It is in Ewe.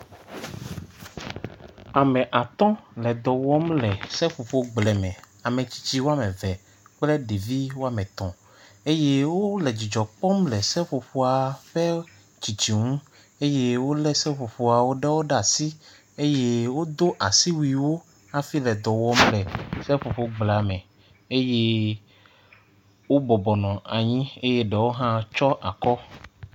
Ame atɔ̃ le dɔ wɔm le seƒoƒo gble me, ametrsitsi woame eve kple ɖevi woame etɔ̃ eye wole dzidzɔ kpɔm le seƒoƒoa ƒe tsitsi ŋu eye wolé seƒoƒoa ɖewo ɖe asi eye wodo asiwuiwo hafi le dɔ wɔm le seƒoƒo gblea me eye wobɔbɔ nɔ anyi eye ɖewo hã tsyɔ akɔ.